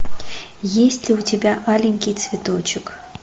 есть ли у тебя аленький цветочек